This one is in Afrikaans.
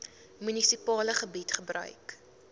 munisipale gebied gebruik